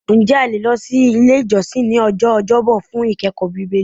Ǹjẹ́ a le lọ si ile ijọsin ní ọjọ́ ọjọbọ fun ikẹkọọ Bibeli?